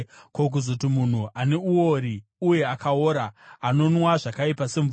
ko, kuzoti munhu, ane uori uye akaora, anonwa zvakaipa semvura!